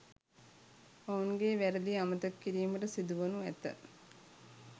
ඔවුන්ගේ වැරදි අමතක කිරීමට සිදුවනු ඇත